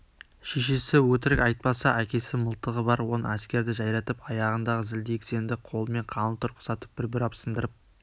шешесі өтірік айтпаса әкесі мылтығы бар он әскерді жайратып аяғындағы зілдей кісенді қолымен қаңылтыр құсатып бір бұрап сындырып